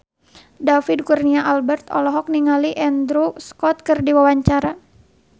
David Kurnia Albert olohok ningali Andrew Scott keur diwawancara